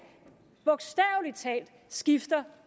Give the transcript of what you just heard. bogstavelig talt skifter